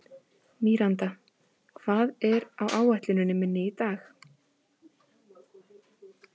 Míranda, hvað er á áætluninni minni í dag?